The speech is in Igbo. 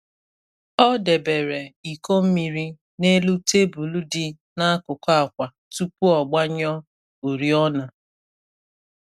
Ọ debere iko mmiri n’elu tebụl dị n’akụkụ akwa tupu ọ gbanyụọ oriọna.